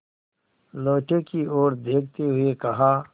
लोटे की ओर देखते हुए कहा